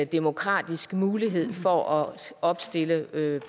demokratisk mulighed for at opstille